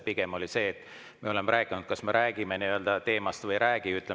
Pigem oli see, et me oleme rääkinud, kas me räägime nii-öelda teemast või ei räägi.